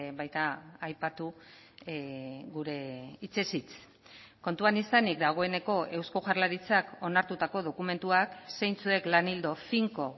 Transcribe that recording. baita aipatu gure hitzez hitz kontuan izanik dagoeneko eusko jaurlaritzak onartutako dokumentuak zeintzuek lan ildo finko